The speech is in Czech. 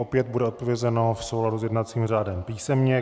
Opět bude odpovězeno v souladu s jednacím řádem písemně.